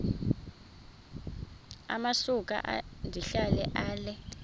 amasuka ndihlala ale